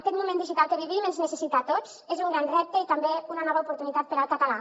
aquest moment digital que vivim ens necessita a tots és un gran repte i també una nova oportunitat per al català